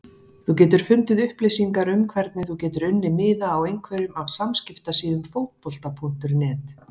Þú getur fundið upplýsingar um hvernig þú getur unnið miða á einhverjum af samskiptasíðum Fótbolta.net.